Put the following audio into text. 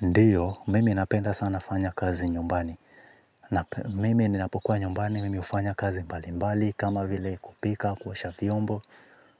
Ndiyo, mimi napenda sana fanya kazi nyumbani. Mimi ninapokuwa nyumbani, mimi ufanya kazi mbali mbali. Kama vile kupika, kuosha vyombo,